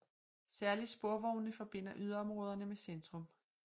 Særlig sporvognene forbinder yderområderne med centrum